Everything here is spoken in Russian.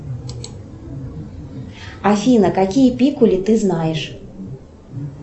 афина какие пикули ты знаешь